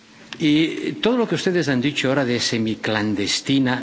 Y todo lo que ustedes han dicho ahora de semiclandestina.